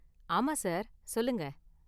ஆமா சார், சொல்லுங்க.